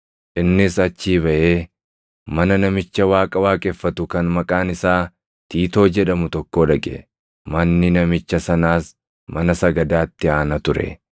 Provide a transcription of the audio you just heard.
Innis achii baʼee mana namicha Waaqa waaqeffatu kan maqaan isaa Tiitoo jedhamu tokkoo dhaqe; manni namicha sanaas mana sagadaatti aana ture.